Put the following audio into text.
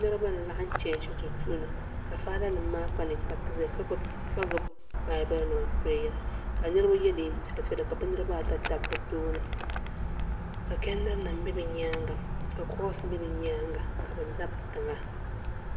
Niriba n laɣim chechi duu puuni ka faara nima maa kpa ninkpariti ʒɛya ka gbibi baabuli nima m pireyira ka niriba ye niɛn'piɛla piɛla niriba ata dabi bɛ tooni ka chediri nima be bɛ nyaanga ka kurosi be bɛ nyaanga ka bɛ dabi tiŋa.